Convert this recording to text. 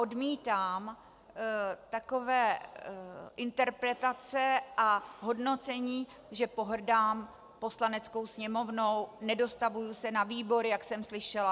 Odmítám takové interpretace a hodnocení, že pohrdám Poslaneckou sněmovnou, nedostavuji se na výbory, jak jsem slyšela.